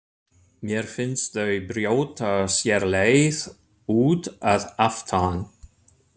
Mér finnst þau brjóta sér leið út að aftan.